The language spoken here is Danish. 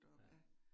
Ja